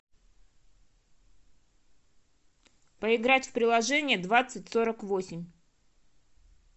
поиграть в приложение двадцать сорок восемь